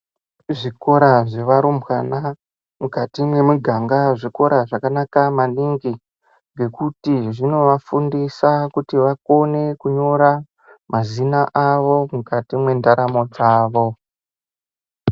Zvikora zvevarumbwana mukati mwemuganga zvikora zvakanaka maningi ngekuti zvinovafundisa kuti vakone kunyora mazina avo mukati mwendaramo dzavo.